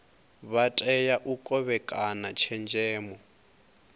vha tea u kovhekana tshenzhemo